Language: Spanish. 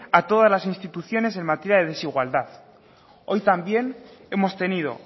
a todas las instituciones en materia de desigualdad hoy también hemos tenido